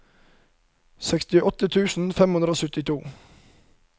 sekstiåtte tusen fem hundre og syttito